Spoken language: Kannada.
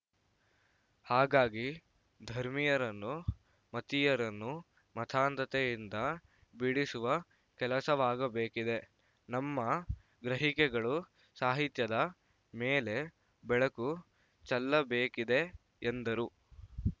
ಹಾಗಾಗಿ ಧರ್ಮೀಯರನ್ನು ಮತೀಯರನ್ನು ಮತಾಂಧತೆಯಿಂದ ಬಿಡಿಸುವ ಕೆಲಸವಾಗಬೇಕಿದೆ ನಮ್ಮ ಗ್ರಹಿಕೆಗಳು ಸಾಹಿತ್ಯದ ಮೇಲೆ ಬೆಳಕು ಚೆಲ್ಲಬೇಕಿದೆ ಎಂದರು